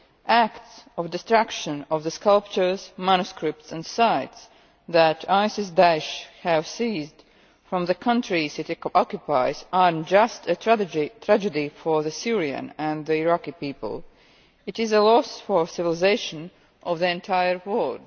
Acts of destruction of the sculptures, manuscripts and sites that ISIS Da'esh have seized from the countries it occupies are not just a tragedy for the Syrian and the Iraqi people, it is a loss for civilisations of the entire World.